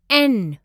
N